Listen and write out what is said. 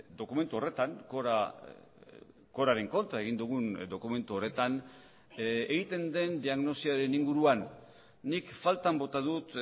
dokumentu horretan coraren kontra egin dugun dokumentu horretan egiten den diagnosiaren inguruan nik faltan bota dut